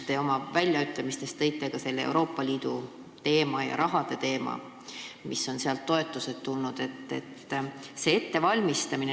Te oma väljaütlemistes tõite esile ka Euroopa Liidu raha ja makstavate toetuste teema.